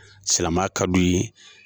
Silamɛya ka du ye.